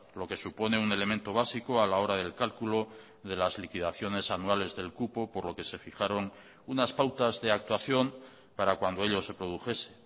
lo que supone un elemento básico a la hora del cálculo de las liquidaciones anuales del cupo por lo que se fijaron unas pautas de actuación para cuando ello se produjese